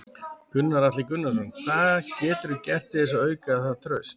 Gunnar Atli Gunnarsson: Hvað geturðu gert til þess að auka það traust?